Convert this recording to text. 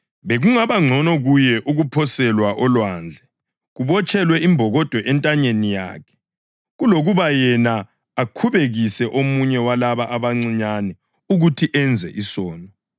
Bekungaba ngcono kuye ukuphoselwa olwandle kubotshelwe imbokodo entanyeni yakhe kulokuba yena akhubekise omunye walaba abancinyane ukuthi enze isono.